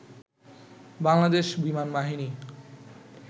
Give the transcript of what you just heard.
বাংলাদেশ বিমানবাহিনী